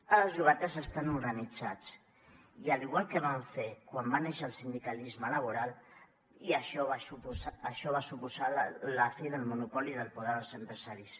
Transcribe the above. ara els llogaters estan organitzats i igual com van fer quan va néixer el sindicalisme laboral i això va suposar la fi del monopoli del poder dels empresaris